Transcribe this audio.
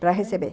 Para receber.